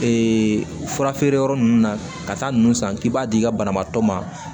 furafeereyɔrɔ ninnu na ka taa ninnu san k'i b'a di i ka banabaatɔ ma